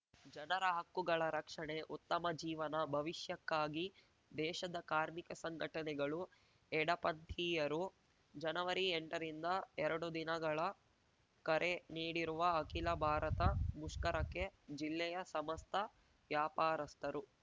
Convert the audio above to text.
ಜನರ ಹಕ್ಕುಗಳ ರಕ್ಷಣೆಉತ್ತಮ ಜೀವನ ಭವಿಷ್ಯಕ್ಕಾಗಿ ದೇಶದ ಕಾರ್ಮಿಕ ಸಂಘಟನೆಗಳು ಎಡಪಂಥೀಯರು ಜನವರಿಎಂಟರಿಂದ ಎರಡು ದಿನಗಳ ಕರೆ ನೀಡಿರುವ ಅಖಿಲ ಭಾರತ ಮುಷ್ಕರಕ್ಕೆ ಜಿಲ್ಲೆಯ ಸಮಸ್ತ ವ್ಯಾಪಾರಸ್ತರು